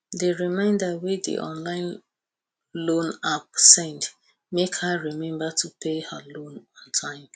di reminder wey di online loan app send make her remember to pay her loan on time